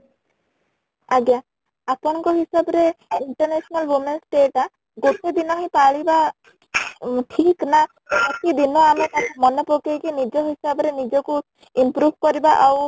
ଆଜ୍ଞା , ଆପଣ ଙ୍କ ହିସାବ ରେ international women's day ଟା ଗୋଟେ ଦିନ ହିଁ ପାଳିବା ଠିକ ନା ପ୍ରତି ଦିନ ଆମେ ତାକୁ ମନେ ପକେଇକି ନିଜ ହିସାବ ରେ ନିଜକୁ improve କରିବା ଆଉ